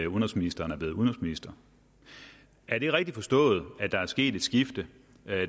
udenrigsministeren er blevet udenrigsminister er det rigtigt forstået at der er sket et skifte